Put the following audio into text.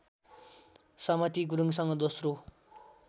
समती गुरुङसँग दोस्रो